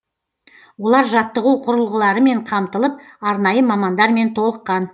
олар жаттығу құрылғыларымен қамтылып арнайы мамандармен толыққан